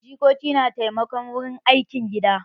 Jikoki na taimako wurin aikin gida.